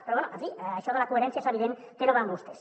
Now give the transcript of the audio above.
però bé en fi això de la coherència és evident que no va amb vostès